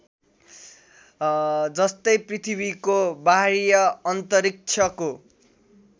जस्तै पृथ्वी को वाह्य अन्तरिक्षको